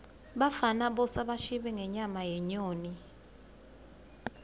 bafana bosa bashibe ngenyama yenyoni